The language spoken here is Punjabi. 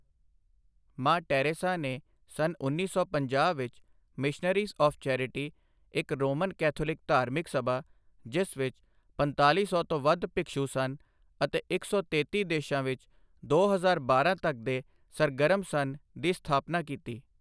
ਮਾਂ ਟੈਰੇਸਾ ਨੇ ਸੰਨਉੱਨੀ ਸੌ ਪੰਜਾਹ ਵਿੱਚ ਮਿਸ਼ਨਰੀਜ਼ ਆਫ਼ ਚੈਰਿਟੀ, ਇੱਕ ਰੋਮਨ ਕੈਥੋਲਿਕ ਧਾਰਮਿਕ ਸਭਾ ਜਿਸ ਵਿੱਚ ਪੰਤਾਲੀ ਸੌ ਤੋਂ ਵੱਧ ਭਿਖਸ਼ੂ ਸਨ ਅਤੇ ਇੱਕ ਸੌ ਤੇਤੀ ਦੇਸ਼ਾਂ ਵਿੱਚ ਦੋ ਹਜ਼ਾਰ ਬਾਰਾਂ ਤੱਕ ਦੇ ਸਰਗਰਮ ਸਨ, ਦੀ ਸਥਾਪਨਾ ਕੀਤੀ।